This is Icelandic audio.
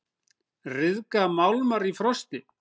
Ryðga málmar í frosti?